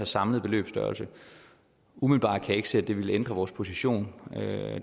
samlede beløbsstørrelse umiddelbart kan jeg ikke se at det vil ændre vores position